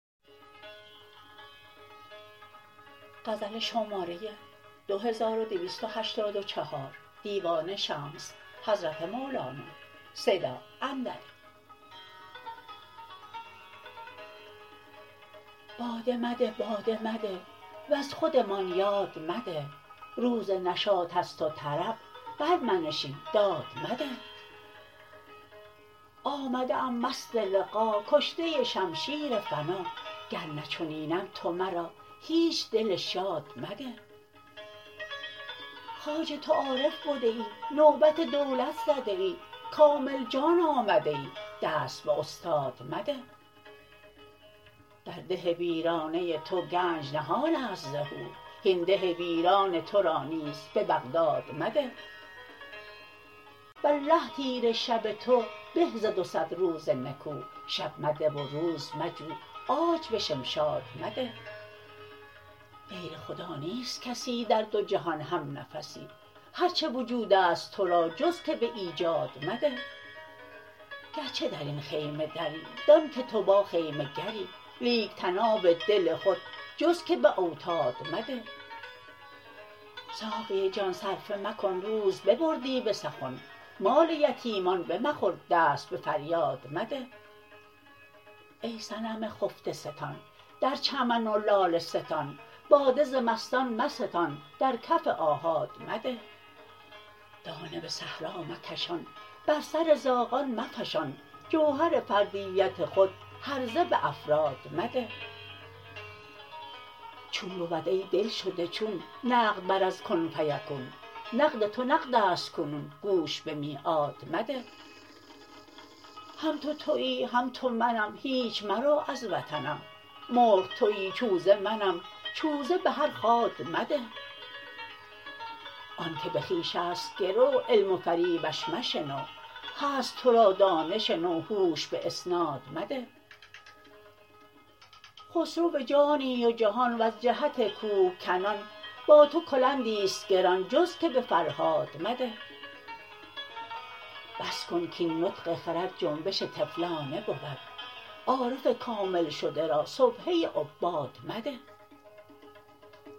باده بده باد مده وز خودمان یاد مده روز نشاط است و طرب برمنشین داد مده آمده ام مست لقا کشته شمشیر فنا گر نه چنینم تو مرا هیچ دل شاد مده خواجه تو عارف بده ای نوبت دولت زده ای کامل جان آمده ای دست به استاد مده در ده ویرانه تو گنج نهان است ز هو هین ده ویران تو را نیز به بغداد مده والله تیره شب تو به ز دو صد روز نکو شب مده و روز مجو عاج به شمشاد مده غیر خدا نیست کسی در دو جهان همنفسی هر چه وجود است تو را جز که به ایجاد مده گرچه در این خیمه دری دانک تو با خیمه گری لیک طناب دل خود جز که به اوتاد مده ساقی جان صرفه مکن روز ببردی به سخن مال یتیمان بمخور دست به فریاد مده ای صنم خفته ستان در چمن و لاله ستان باده ز مستان مستان در کف آحاد مده دانه به صحرا مکشان بر سر زاغان مفشان جوهر فردیت خود هرزه به افراد مده چون بود ای دلشده چون نقد بر از کن فیکون نقد تو نقد است کنون گوش به میعاد مده هم تو توی هم تو منم هیچ مرو از وطنم مرغ توی چوژه منم چوزه به هر خاد مده آنک به خویش است گرو علم و فریبش مشنو هست تو را دانش نو هوش به اسناد مده خسرو جانی و جهان وز جهت کوهکنان با تو کلندی است گران جز که به فرهاد مده بس کن کاین نطق خرد جنبش طفلانه بود عارف کامل شده را سبحه عباد مده